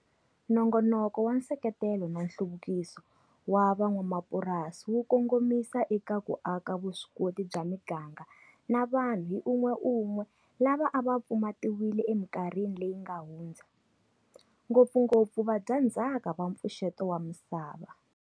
Nongonoko wa Nseketelo na Nhluvukiso wa Van'wamapurasi wu kongomisa eka ku aka vuswikoti bya miganga na vanhu hi un'weun'we lava a va pfumatiwile emikarhini leyi nga hundza, ngopfungopfu vadyandzhaka va Mpfuxeto wa Misava.